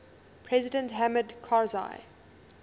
president hamid karzai